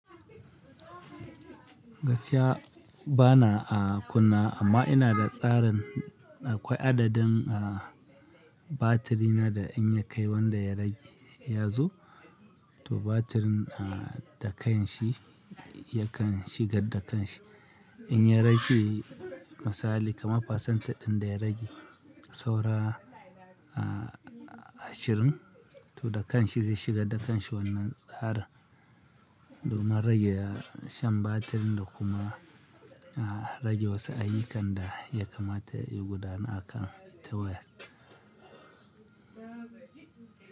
Gaskiya bana a kunna amma ina da tsarin akwai adadin batiri na da in ya kai wanda ya rage ya zo, to batirin da kan shi yakan shiga da kanshi. In ya rage misali kamar pasanta ɗin da ya rage saura ashirin to da kanshi zai shiga da kanshi wannan tsarin. Domin rage shan batirin da kuma rage wasu aƴikan da ya kamata ya gudana akan tawayel.